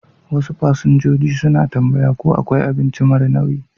Wasu fasinjoji suna tambaya ko akwai abinci mara nauyi.